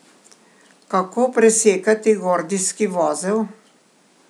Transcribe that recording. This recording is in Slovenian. Kako presekati gordijski vozel?